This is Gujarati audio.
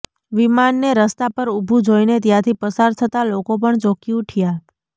વિમાનને રસ્તા પર ઉભું જોઈને ત્યાંથી પસાર થતા લોકો પણ ચોંકી ઉઠ્યા